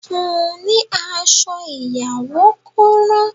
Fun ni aṣọ ìyàwó kó ran